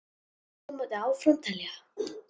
Og svo mætti áfram telja.